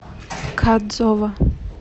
кадзова